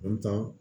An ta